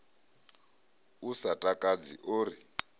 u sa takadzi o ri